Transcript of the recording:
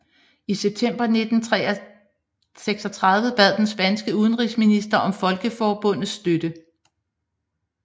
I september 1936 bad den spanske udenrigsminister om Folkeforbundets støtte